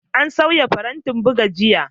An sauya farantin buga jiya.